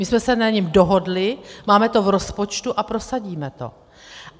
My jsme se na něm dohodli, máme to v rozpočtu a prosadíme to.